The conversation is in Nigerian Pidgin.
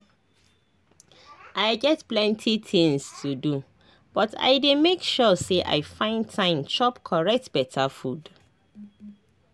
i get plenty tinz to do but i dey make sure say i find time chop correct beta food.